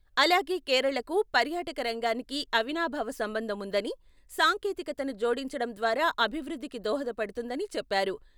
అలాగే కేరళకూ, పర్యాటక రంగానికీ అవినాభావ సంబంధం వుందని, సాంకేతికతను జోడించడం ద్వారా అభివృద్ధికి దోహదపడుతుందని చెప్పారు.